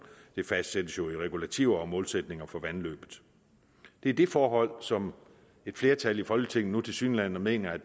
det fastsættes jo i regulativer og målsætninger for vandløbet det er det forhold som et flertal i folketinget nu tilsyneladende mener